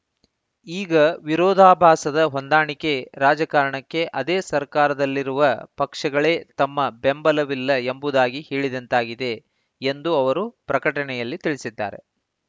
ಈಗ ವಿರೋಧಾಭಾಸದ ಹೊಂದಾಣಿಕೆ ರಾಜಕಾರಣಕ್ಕೆ ಅದೇ ಸರ್ಕಾರದಲ್ಲಿರುವ ಪಕ್ಷಗಳೇ ತಮ್ಮ ಬೆಂಬಲವಿಲ್ಲ ಎಂಬುದಾಗಿ ಹೇಳಿದಂತಾಗಿದೆ ಎಂದು ಅವರು ಪ್ರಕಟಣೆಯಲ್ಲಿ ತಿಳಿಸಿದ್ದಾರೆ